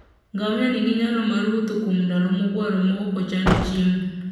Ngamia nigi nyalo mar wuotho kuom ndalo mogwaro maok ochando chiemo.